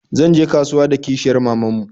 Zan je kasuwa da kishiyar maman mu